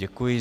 Děkuji.